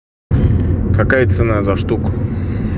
какая цена за штуку